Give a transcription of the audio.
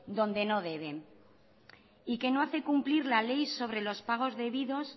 donde no deben y que no hace cumplir la ley sobre los pagos debidos